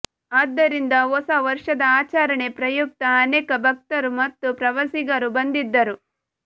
ಆದ್ದರಿಂದ ಹೊಸ ವರ್ಷದ ಆಚರಣೆ ಪ್ರಯುಕ್ತ ಅನೇಕ ಭಕ್ತರು ಮತ್ತು ಪ್ರವಾಸಿಗರು ಬಂದಿದ್ದರು